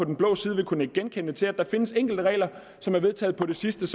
den blå side vil kunne nikke genkendende til at der findes enkelte regler som er vedtaget på det sidste